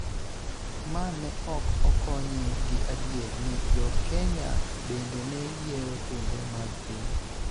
ma ne ok okonye gi adier ni Jo-Kenya bende ne yiero Thumbe mag Piny